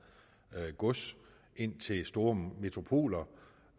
gods ind til store metropoler